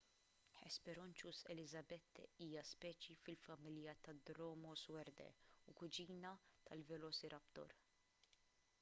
hesperonychus elizabethae hija speċi fil-familja ta' dromaeosauridae u kuġina tal-velociraptor